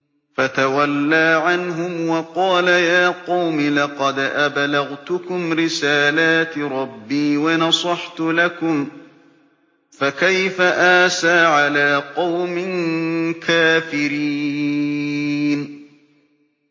فَتَوَلَّىٰ عَنْهُمْ وَقَالَ يَا قَوْمِ لَقَدْ أَبْلَغْتُكُمْ رِسَالَاتِ رَبِّي وَنَصَحْتُ لَكُمْ ۖ فَكَيْفَ آسَىٰ عَلَىٰ قَوْمٍ كَافِرِينَ